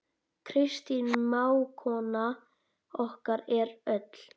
Kristín mágkona okkar er öll.